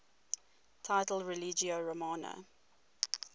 title religio romana